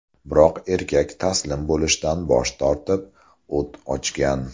Biroq erkak taslim bo‘lishdan bosh tortib, o‘t ochgan.